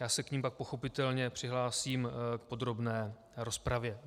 Já se k nim pak pochopitelně přihlásím v podrobné rozpravě.